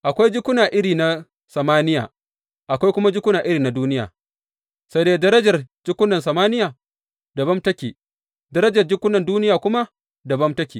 Akwai jikuna iri na samaniya, akwai kuma jikuna iri na duniya; sai dai darajar jikunan samaniya dabam take, darajar jikunan duniya kuma dabam take.